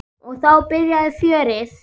Og þá byrjaði fjörið.